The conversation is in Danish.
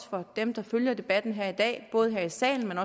for dem der følger debatten her i dag både her i salen